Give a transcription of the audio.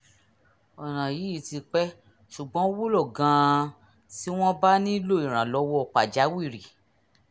ọ̀nà yìí ti pẹ́ ṣùgbọ́n ó wúlò gan-an tí wọ́n bá nílò ìrànlọ́wọ́ pàjáwìrì